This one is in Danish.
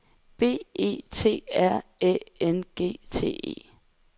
B E T R Æ N G T E